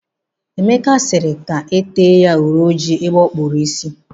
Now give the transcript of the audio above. Emeka sịrị ka e tee ya uri ojii ebe ọ kpụrụ isi.